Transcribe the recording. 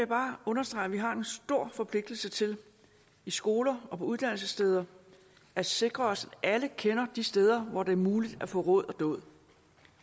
bare understrege at vi har en stor forpligtelse til i skoler og på uddannelsessteder at sikre os at alle kender de steder hvor det er muligt at få råd og dåd